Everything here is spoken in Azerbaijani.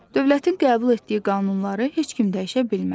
Dövlətin qəbul etdiyi qanunları heç kim dəyişə bilməz.